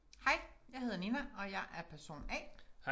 Hej jeg hedder Nina og jeg er person A